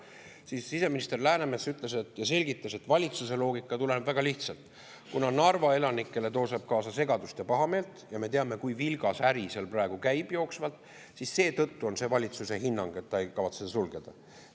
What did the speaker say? Siis siseminister Läänemets selgitas, et valitsuse loogika tuleneb väga lihtsast: kuna Narva elanikele toob see kaasa segadust ja pahameelt – ja me teame, kui vilgas äri seal praegu käib –, siis seetõttu on valitsuse hinnang, et ta ei kavatse sulgeda.